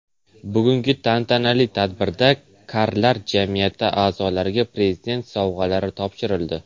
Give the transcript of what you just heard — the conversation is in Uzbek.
Bugungi tantanali tadbirda karlar jamiyati a’zolariga Prezident sovg‘alari topshirildi.